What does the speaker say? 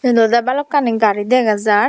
eyen olodey balukani gari dega jaar.